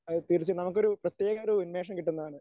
അതെ തീർച്ചയായും നമുക്കൊരു പ്രത്യേകതതരം ഉന്മേഷം കിട്ടുന്നതാണ്.